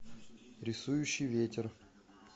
рисующий ветер